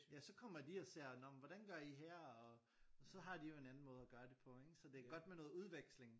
Ja så kommer de og ser nå men hvordan gør i her og så har de jo en anden måde at gøre det på ikke så det er godt med noget udveksling